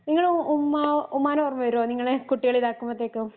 നിങ്ങള് ഉമ്മാ ഉമ്മാനെ ഓർമ്മ വരുവോ ഇങ്ങളെ കുട്ടികൾ ഇതാകുമ്പോത്തേക്കും